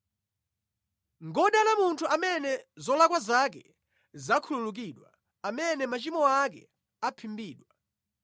Ngodala munthu amene zolakwa zake zakhululukidwa; amene machimo ake aphimbidwa.